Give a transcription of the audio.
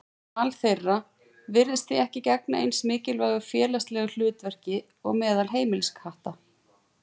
Mal þeirra virðist því ekki gegna eins mikilvægu félagslegu hlutverki og meðal heimiliskatta.